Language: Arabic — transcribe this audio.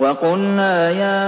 وَقُلْنَا يَا